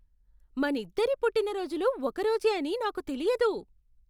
మనిద్దరి పుట్టిన రోజులు ఒక రోజే అని నాకు తెలియదు.